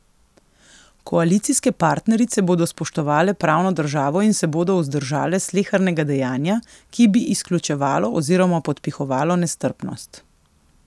Koalicijske partnerice bodo spoštovale pravno državo in se bodo vzdržale slehernega dejanja, ki bi izključevalo oziroma podpihovalo nestrpnost.